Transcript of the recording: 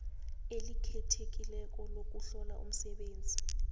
elikhethekileko lokuhlola umsebenzi